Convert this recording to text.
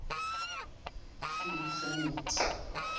umtriniti